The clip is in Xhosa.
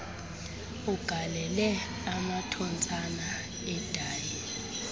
ugalele amathontsasa edayi